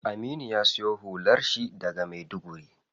Aminu ya siyo hular shi daga maiduguri.